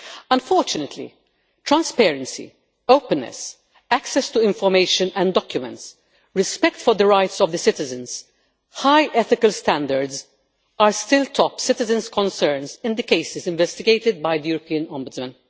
Unfortunately, transparency, openness, access to information and documents, respect for the rights of citizens, and high ethical standards are still the top citizens' concerns in the cases investigated by the European Ombudsman.